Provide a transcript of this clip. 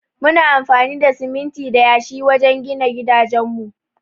Muna amfani da siminti da yashi wajen gina gidajen mu.